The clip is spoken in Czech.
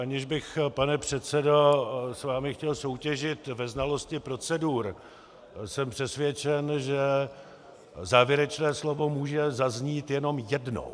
Aniž bych, pane předsedo, s vámi chtěl soutěžit ve znalosti procedur, jsem přesvědčen, že závěrečné slovo může zaznít jenom jednou.